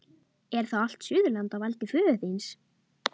Er þá allt Suðurland á valdi föður þíns?